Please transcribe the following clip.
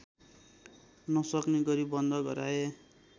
नसक्ने गरी बन्द गराए